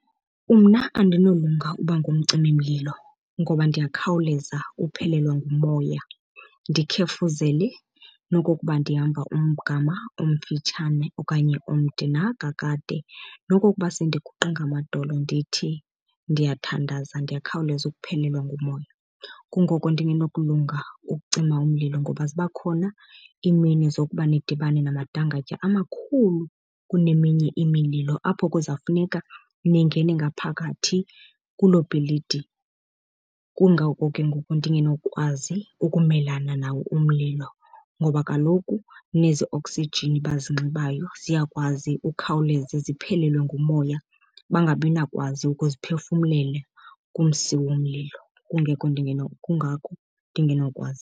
Umna andinolunga uba ngumcimimlilo ngoba ndiyakhawuleza uphelelwe ngumoya ndikhefuzele nokokuba ndihamba umgama omfitshane okanye omde na kakade. Nokokuba sendiguqe ngamadolo ndithi ndiyathandaza ndiyakhawuleza ukuphelelwa ngumoya. Kungoko ndingenokulunga ukucima umlilo ngoba ziba khona iimini zokuba nidibane namadangatya amakhulu kuneminye imililo, apho kuzawufuneka ningene ngaphakathi kuloo bhilidi. Kungako ke ngoku ndingenokwazi ukumelana nawo umlilo ngoba kaloku nezi oksijini bazinxibayo ziyakwazi ukhawuleze ziphelelwe ngumoya bangabinakwazi ukuziphefumlela kumsi womlilo. Kungako ndingenokwazi.